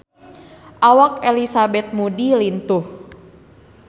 Awak Elizabeth Moody lintuh